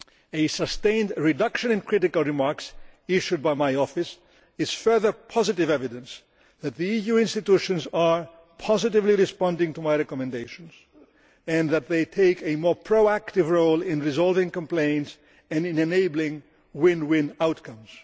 A sustained reduction in critical remarks issued by my office is further positive evidence that the EU institutions are positively responding to my recommendations and that they are taking a more proactive role in resolving complaints and in enabling win win outcomes.